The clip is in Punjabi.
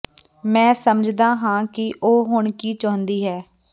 ਮੈਂ ਸਮਝਦਾ ਹਾਂ ਕਿ ਉਹ ਹੁਣ ਕੀ ਚਾਹੁੰਦੀ ਹੈ